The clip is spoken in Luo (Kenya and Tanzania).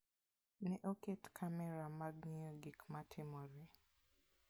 Ne oket kamera mag ng'iyo gik matimore.